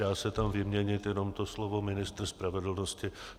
Dá se tam vyměnit jenom to slovo ministr spravedlnosti.